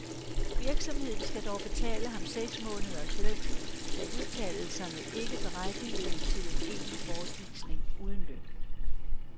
Virksomheden skal dog betale ham seks måneders løn, da udtalelserne ikke berettigede til en egentlig bortvisning uden løn.